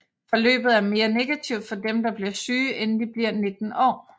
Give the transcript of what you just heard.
Forløbet er mere negativt for dem der bliver syge inden de bliver 19 år